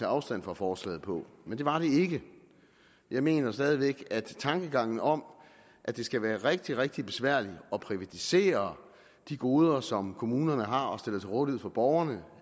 afstand fra forslaget på men det var det ikke jeg mener stadig væk at tankegangen om at det skal være rigtig rigtig besværligt at privatisere de goder som kommunerne har og stiller til rådighed for borgerne